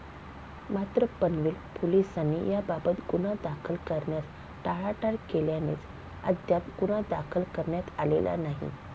मात्र, पनवेल पोलिसांनी याबाबत गुन्हा दाखल करण्यास टाळाटाळ केल्यानेच अद्याप गुन्हा दाखल करण्यात आलेला नाही.